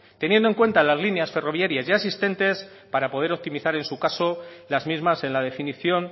teniendo en cuenta las líneas ferroviarias ya existentes para poder optimizar en su caso las mismas en la definición